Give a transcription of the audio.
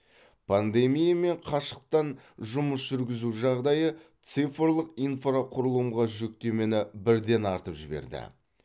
пандемия мен қашықтан жұмыс жүргізу жағдайы цифрлық инфрақұрылымға жүктемені бірден артып жіберді